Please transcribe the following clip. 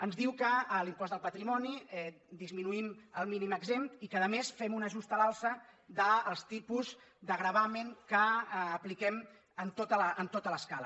ens diu que a l’impost del patrimoni hi disminuïm el mínim exempt i que a més hi fem un ajustament a l’alça dels tipus de gravamen que apliquem en tota l’escala